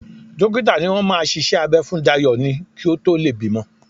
Dókítà ni wọ́n máa ṣiṣẹ́ abẹ́ fún Dayọ̀ ni kí ó tó lè bímọ